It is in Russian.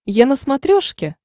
е на смотрешке